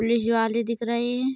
Police वाले दिख रहे हैं।